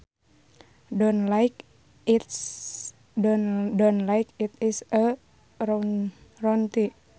Done like it is a routine